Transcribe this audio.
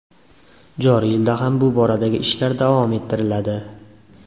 Joriy yilda ham bu boradagi ishlar davom ettiriladi.